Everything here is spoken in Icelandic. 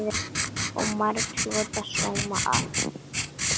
Og margur hlotið sóma af.